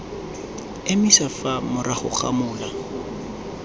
emisa fa morago ga mola